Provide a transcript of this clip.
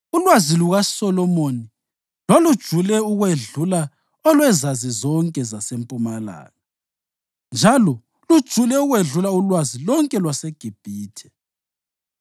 Ulwazi lukaSolomoni lwalujule ukwedlula olwezazi zonke zaseMpumalanga, njalo lujule ukwedlula ulwazi lonke lwaseGibhithe.